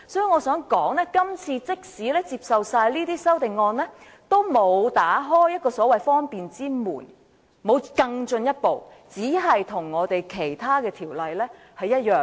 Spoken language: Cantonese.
我想說的是，今次即使通過所有修正案，也沒有更進一步打開一個所謂方便之門，只是與其他條例一致而已。